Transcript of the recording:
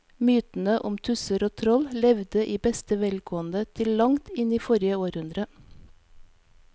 Mytene om tusser og troll levde i beste velgående til langt inn i forrige århundre.